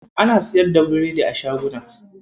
Ana siyar da biredi a shaguna.